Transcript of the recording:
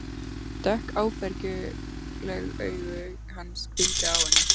Dökk áfergjuleg augu hans hvíldu á henni.